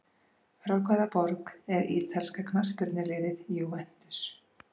Frá hvaða borg er ítalska knattspyrnuliðið Juventus?